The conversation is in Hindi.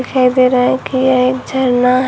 दिखाई दे रहा है कि यह एक झरना है।